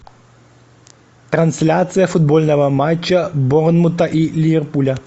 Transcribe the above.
трансляция футбольного матча борнмута и ливерпуля